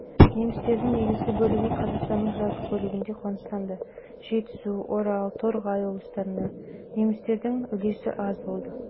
немістердің негізгі бөлігі қазақстанның жазық бөлігінде қоныстанды жетісу орал торғай облыстарында немістердің үлесі аз болды негізгі